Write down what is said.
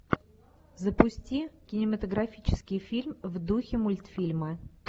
запусти кинематографический фильм в духе мультфильма